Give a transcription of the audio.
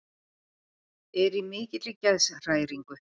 Er í mikilli geðshræringu.